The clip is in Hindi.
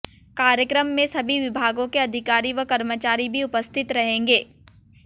कार्यक्रम में सभी विभागों के अधिकारी व कर्मचारी भी उपस्थित रहेंगे